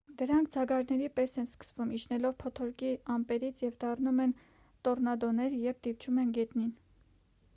դրանք ձագարների պես են սկսվում իջնելով փոթորկի ամպերից և դառնում են տոռնադոներ երբ դիպչում են գետնին